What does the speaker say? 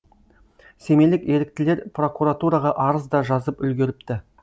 семейлік еріктілер прокуратураға арыз да жазып үлгеріпті